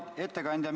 Hea ettekandja!